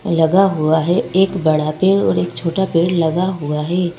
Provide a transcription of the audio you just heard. लगा हुआ है एक बड़ा पेड़ और एक छोटा पेड़ लगा हुआ है।